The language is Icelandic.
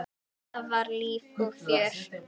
Alltaf var líf og fjör.